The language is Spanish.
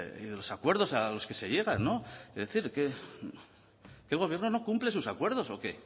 y de los acuerdos a los que se llegan es decir este gobierno no cumple sus acuerdos o qué